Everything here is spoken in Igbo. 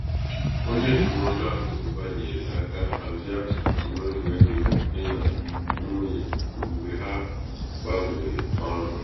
onye ndụmọdụ akụnaụba nyere aka hazie atụmatụ mmefu ego dị nà nwunye mgbe ha gbanwere ọrụ.